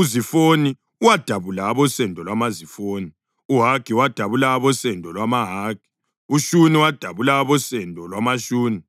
uZifoni wadabula abosendo lwamaZifoni; uHagi wadabula abosendo lwamaHagi; uShuni wadabula abosendo lwamaShuni;